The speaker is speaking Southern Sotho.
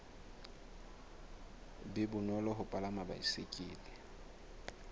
be bonolo ho palama baesekele